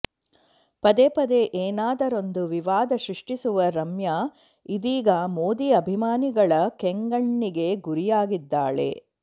ಪದೇ ಪದೇ ಏನಾದರೊಂದು ವಿವಾದ ಸೃಷ್ಟಿಸುವ ರಮ್ಯಾ ಇದೀಗ ಮೋದಿ ಅಭಿಮಾನಿಗಳ ಕೆಂಗಣ್ಣಿಗೆ ಗುರಿಯಾಗಿದ್ದಾಳೆ